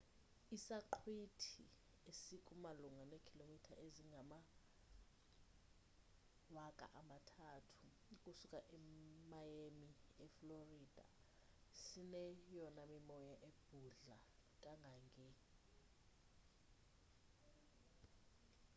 isaqhwithi esiku malunga neekhilomitha ezingama-3000 ukusuka emiami eflorida sineyona mimoya ebhudla kangange -40 mph i-64 kph